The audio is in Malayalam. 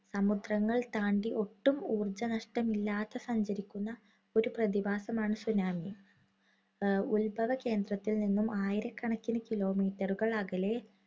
സമുദ്രങ്ങൾ താണ്ടി ഒട്ടും ഊർജ്ജനഷ്ടമില്ലാതെ സഞ്ചരിക്കുന്ന ഒരു പ്രതിഭാസമാണ് tsunami. ഉത്ഭവകേന്ദ്രത്തിൽ നിന്നും ആയിരക്കണക്കിന് kilometer ഉകൾ അകലെ